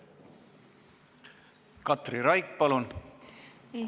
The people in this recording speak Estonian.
Katri Raik, palun!